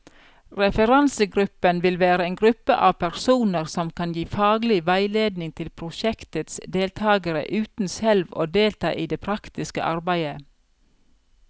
Referansegruppen vil være en gruppe av personer som kan gi faglig veiledning til prosjektets deltagere, uten selv å delta i det praktiske arbeidet.